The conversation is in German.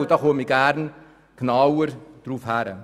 Darauf komme ich gerne genauer zu sprechen.